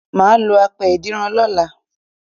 Mà á lo apẹ ìdínran lọ́la